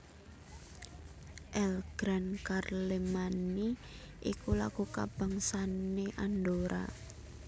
El Gran Carlemany iku lagu kabangsané Andorra